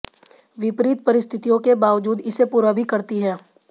विपरीत परिस्थितियों के बावजूद इसे पूरा भी करती है